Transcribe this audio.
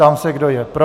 Ptám se, kdo je pro?